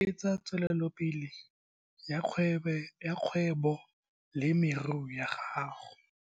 Se tlaa oketsa tswelelopele ya kgwebobolemirui ya gago?